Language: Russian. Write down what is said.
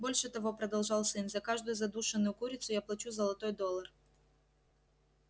больше того продолжал сын за каждую задушенную курицу я плачу золотой доллар